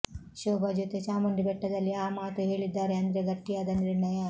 ಶೋಭಾ ಜೊತೆ ಚಾಮುಂಡಿ ಬೆಟ್ಟದಲ್ಲಿ ಆ ಮಾತು ಹೇಳಿದ್ದಾರೆ ಅಂದ್ರೆ ಗಟ್ಟಿಯಾದ ನಿರ್ಣಯ